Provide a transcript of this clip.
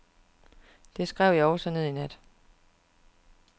Det skrev jeg også ned i nat.